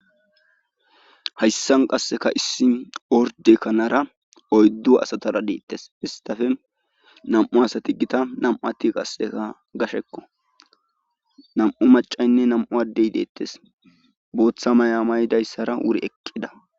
Hayssan qasseka issi orde kanara oyddu asatara deettes istafe nam7u asati gita nam7uati qasseka gashekko nam7u macaynne nam7u addey deettes booththa maya maydayssara wuri eqqida